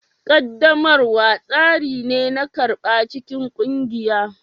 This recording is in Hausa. Ƙaddamarwa tsari ne na karɓa cikin ƙungiya